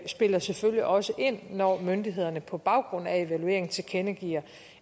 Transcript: spiller selvfølgelig også ind når myndighederne på baggrund af evalueringen tilkendegiver